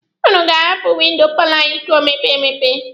Ụnụ ga-ahapụ windo paalọ anyị ka o mepee emepe.